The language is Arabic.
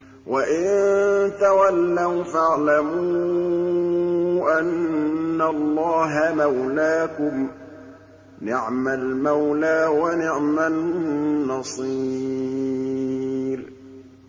وَإِن تَوَلَّوْا فَاعْلَمُوا أَنَّ اللَّهَ مَوْلَاكُمْ ۚ نِعْمَ الْمَوْلَىٰ وَنِعْمَ النَّصِيرُ